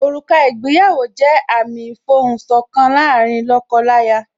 Òrùka ìgbéyàwó jẹ́ àmìn ìfohùn sọ̀kan láàárín lóko láya